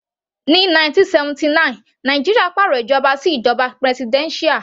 Ní 1979 Nàìjíríà pàrọ̀ ìjọba sí ìjoba presidential.